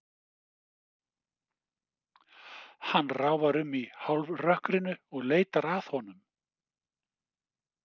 Hann ráfar um í hálfrökkrinu og leitar að honum.